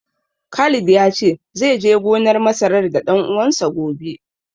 Khalid ya ce zai je gonar masarar da ɗan uwansa, gobe.